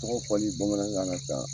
Tɔgɔ fɔli bamanankan sa